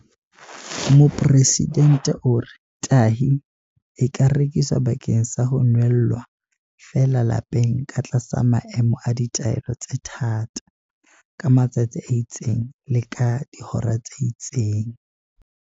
Mopresidente o re- Tahi e ka rekiswa bakeng sa ho nwella feela lapeng ka tlasa maemo a ditaelo tse thata, ka matsatsi a itseng le ka dihora tse itseng.